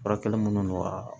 Furakɛli minnu don a